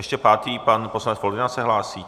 Ještě pátý pan poslanec Foldyna se hlásí?